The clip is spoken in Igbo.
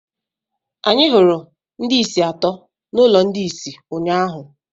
Anyị hụrụ ndị isi atọ n'ụlọ ndị isi ụnyaahụ.